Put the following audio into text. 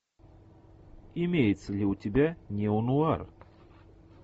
имеется ли у тебя неонуар